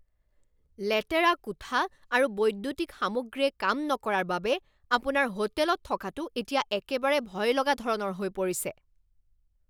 লেতেৰা কোঠা আৰু বৈদ্যুতিক সামগ্ৰীয়ে কাম নকৰাৰ বাবে আপোনাৰ হোটেলত থকাটো এতিয়া একেবাৰে ভয়লগা ধৰণৰ হৈ পৰিছে।